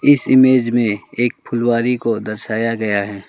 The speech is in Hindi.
इस इमेज में एक फुलवारी को दर्शाया गया है।